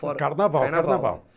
Carnaval, carnaval.